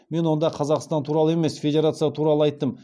мен онда қазақстан туралы емес федерация туралы айттым